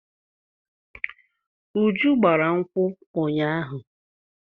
Uju gbara nkwụ ụnyaahụ.